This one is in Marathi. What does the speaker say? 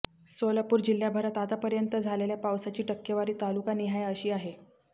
सोलापूर जिल्ह्याभरात आतापर्यंत झालेल्या पावसाची टक्केवारी तालुकानिहाय अशी आहे